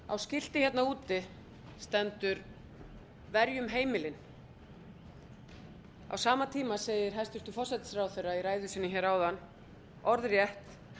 á skilti hérna úti stendur verjum heimilin á sama tíma segir hæstvirtur forsætisráðherra i ræðu sinni hér áðan orðrétt